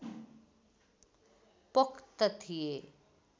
पोख्त थिए